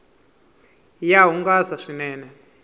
ya hungasa swinene